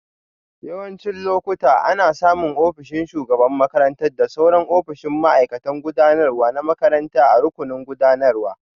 Yawancin lokuta, ana samun ofishin shugaban makarantar da sauran ofisoshin ma'aikatan gudanarwa na makaranta a rukunin gudanarwa.